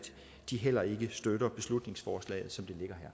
de heller ikke støtter beslutningsforslaget